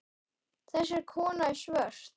Þessi kona er svört.